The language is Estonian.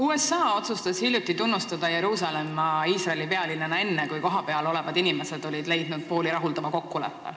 USA otsustas hiljuti tunnustada Jeruusalemma Iisraeli pealinnana enne, kui kohapeal olevad inimesed olid leidnud pooli rahuldava kokkuleppe.